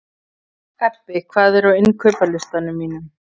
Ebbi, hvað er á innkaupalistanum mínum?